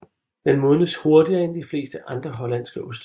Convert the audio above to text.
Den modnes hurtigere end de fleste andre hollandske oste